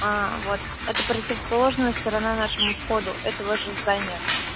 вот это противоположная сторона нашему входу этого же здания